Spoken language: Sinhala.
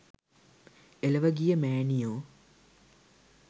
එලොව ගිය මෑණියෝ